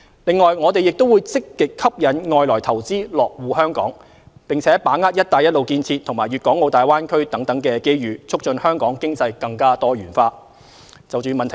此外，我們會積極吸引外來投資落戶香港，並把握"一帶一路"建設和粵港澳大灣區等機遇，促進香港經濟更多元化。